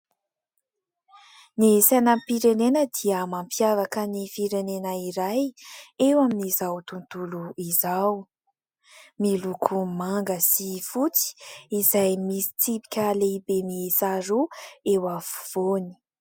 Ny sainam-pirenena dia mampiavaka ny firenena iray eo amin'izao tontolo izao, miloko manga sy fotsy izay misy tsipika lehibe miisa roa eo afovoany.